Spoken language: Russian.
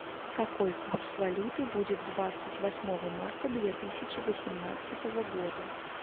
какой курс валюты будет двадцать восьмого марта две тысячи восемнадцатого года